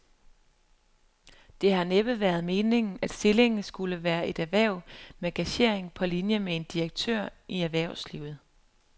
Det har næppe været meningen, at stillingen skulle være et erhverv med gagering på linie med en direktør i erhvervslivet.